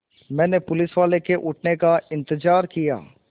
मैंने पुलिसवाले के उठने का इन्तज़ार किया